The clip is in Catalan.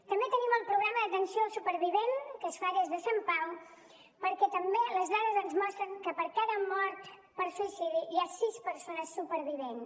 també tenim el programa d’atenció al supervivent que es fa des de sant pau perquè també les dades ens mostren que per cada mort per suïcidi hi ha sis persones supervivents